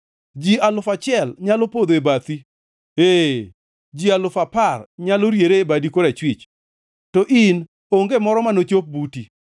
Ji alufu achiel nyalo podho e bathi, ee, ji alufu apar nyalo riere e badi korachwich, to in onge moro ma nochop buti.